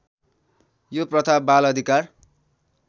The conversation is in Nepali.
यो प्रथा बालअधिकार